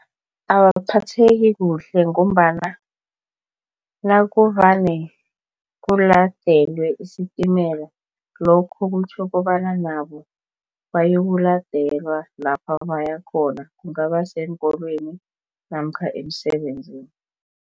Awaphatheki kuhle ngombana nakuvane kuladelwe isitimela lokho kutjho kobana nabo bayokuladelwa lapha bayakhona kungaba seenkolweni namkha emsebenzini.